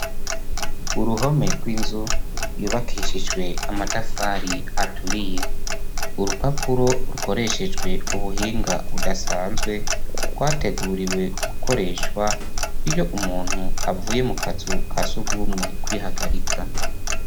Uruhome rw'inzu yubakishijwe amatafari aturiye urupapuro rukoreshejwe ubuhinga budasanzwe rwateguriwe gukoreshwa iyo umuntu avuye mu kazu kasugumwe kwihagarika.